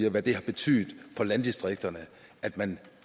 og hvad det har betydet for landdistrikterne og at man